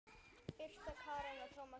Birta Karen og Tómas Orri.